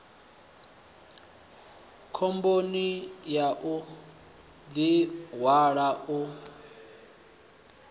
khomboni ya u ḓihwala u